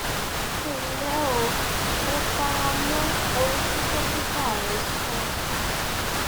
ẹ ǹlẹ o mo fara mọ ohun tí dókítà rẹ sọ